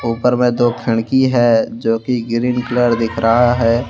ऊपर में दो खिड़की हैजो कि ग्रीन कलर दिख रहा है।